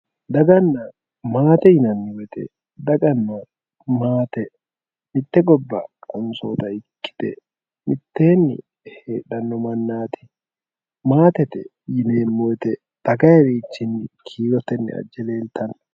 Daganna maate yinanni woyte ,daganna maate mite gobba qansotta ikkite mitteenni heedhano mannati, maatete yineemmo woyte dagawichinni kiirote ajje leellittano.